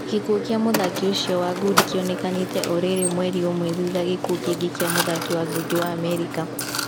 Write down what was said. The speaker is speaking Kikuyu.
Gĩkuo kia mũthaki ũcio wa ngundi kĩonekete o rĩrĩ mweri ũmwe thutha gĩkuo kingi kĩa mũthaki wa ngundi wa Amerika.